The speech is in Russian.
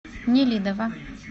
нелидово